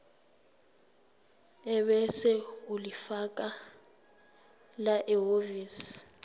ebese ulifakela ehhovisi